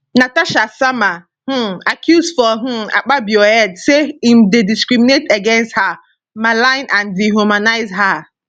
natasha sama um accuse for um akpabio head say im dey discriminate against her malign and dehumanise her